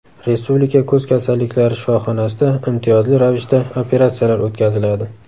Respublika ko‘z kasalliklari shifoxonasida imtiyozli ravishda operatsiyalar o‘tkaziladi.